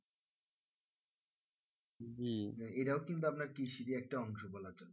যে এটাও কিন্তু কৃষিরই একটা অংশ বলা যাই